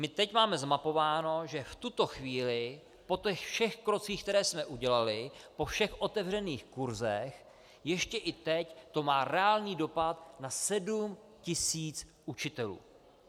My teď máme zmapováno, že v tuto chvíli po těch všech krocích, které jsme udělali, po všech otevřených kursech ještě i teď to má reálný dopad na 7 000 učitelů.